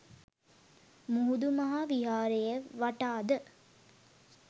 මුහුදු මහා විහාරය වටා ද